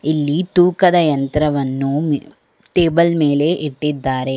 ಇಲ್ಲಿ ತೂಕದ ಯಂತ್ರವನ್ನು ಮಿ ಟೇಬಲ್ ಮೇಲೆ ಇಟ್ಟಿದ್ದಾರೆ.